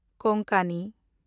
ᱠᱳᱝᱠᱚᱱᱤ